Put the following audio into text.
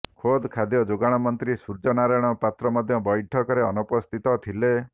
ଖୋଦ୍ ଖାଦ୍ୟ ଯୋଗାଣ ମନ୍ତ୍ରୀ ସୂର୍ଯ୍ୟନାରାୟଣ ପାତ୍ର ମଧ୍ୟ ବୈଠକରେ ଅନୁପସ୍ଥିତ ଥିଲେ